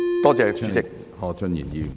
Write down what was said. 多謝主席。